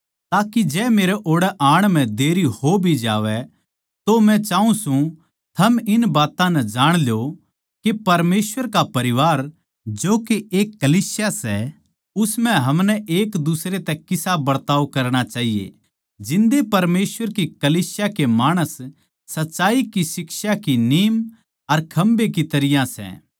ताके जै मेरै ओड़ै आण म्ह देर हो भी जावै तो मै चाऊँ सूं थम इस बात नै जाण ल्यो के परमेसवर के परिवार जो के एक कलीसिया सै उस म्ह हमनै एक दुसरे तै किसा बरताव करणा चाहिए जिन्दा परमेसवर की कलीसिया के माणस सच्चाई की शिक्षा की नीम अर खम्बे की तरियां सै